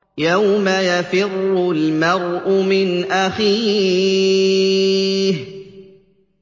يَوْمَ يَفِرُّ الْمَرْءُ مِنْ أَخِيهِ